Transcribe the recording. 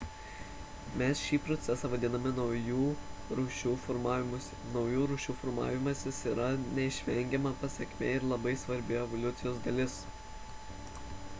mes šį procesą vadiname naujų rūšių formavimusi naujų rūšių formavimasis yra neišvengiama pasekmė ir labai svarbi evoliucijos dalis